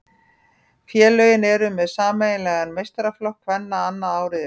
Félögin eru með sameiginlegan meistaraflokk kvenna annað árið í röð.